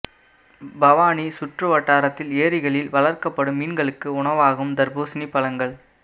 பவானி சுற்று வட்டாரத்தில் ஏரிகளில் வளர்க்கப்படும் மீன்களுக்கு உணவாகும் தர்பூசணி பழங்கள்